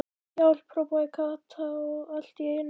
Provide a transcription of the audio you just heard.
HJÁLP.! hrópaði Kata allt í einu.